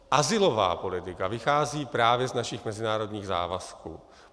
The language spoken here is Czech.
Azylová politika vychází právě z našich mezinárodních závazků.